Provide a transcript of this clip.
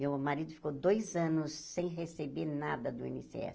Meu marido ficou dois anos sem receber nada do í êne ésse